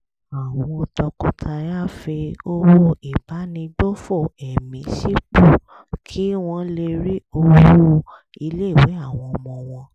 àwọn tọkọtaya fi owó ìbánigbófò ẹ̀mí sípò kí wọ́n lè rí owó ilé ìwé àwọn ọmọ wọn